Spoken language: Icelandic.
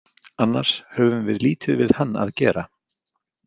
Annars höfum við lítið við hann að gera.